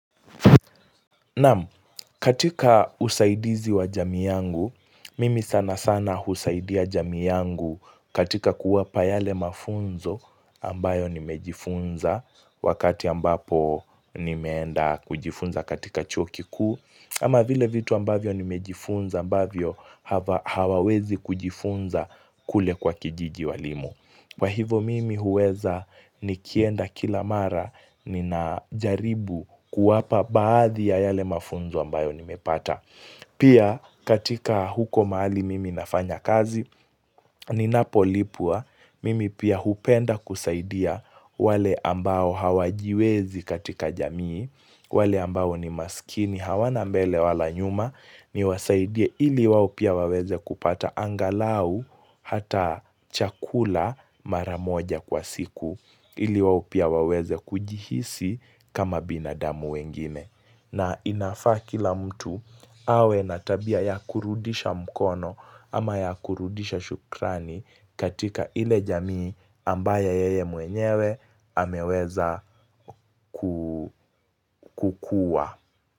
Naam, katika usaidizi wa jamii yangu, mimi sana sana husaidia jamiu yangu katika kuwapa yale mafunzo ambayo nimejifunza wakati ambapo nimeenda kujifunza katika chuo kikuu, ama vile vitu ambavyo nimejifunza ambavyo hawawezi kujifunza kule kwa kijiji walimu. Kwa hivo mimi huweza nikienda kila mara ninajaribu kuwapa baadhi ya yale mafunzo ambayo nimepata. Pia katika huko mahali mimi nafanya kazi ninapolipwa mimi pia hupenda kusaidia wale ambao hawajiwezi katika jamii. Wale ambao ni maskiini hawana mbele wala nyuma niwasaidie ili wao pia waweze kupata angalau hata chakula maramoja kwa siku ili wao pia waweze kujihisi kama binadamu wengine. Na inafaa kila mtu awe na tabia ya kurudisha mkono ama ya kurudisha shukrani katika ile jamii ambaye yeye mwenyewe ameweza kukuwa.